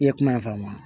I ye kuma in faamu wa